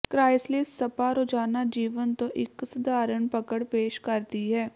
chrysalis spa ਰੋਜ਼ਾਨਾ ਜੀਵਨ ਤੋਂ ਇੱਕ ਸਧਾਰਣ ਪਕੜ ਪੇਸ਼ ਕਰਦੀ ਹੈ